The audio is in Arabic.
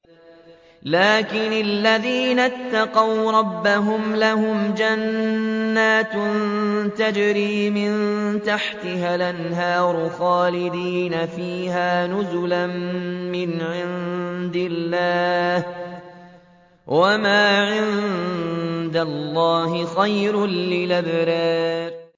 لَٰكِنِ الَّذِينَ اتَّقَوْا رَبَّهُمْ لَهُمْ جَنَّاتٌ تَجْرِي مِن تَحْتِهَا الْأَنْهَارُ خَالِدِينَ فِيهَا نُزُلًا مِّنْ عِندِ اللَّهِ ۗ وَمَا عِندَ اللَّهِ خَيْرٌ لِّلْأَبْرَارِ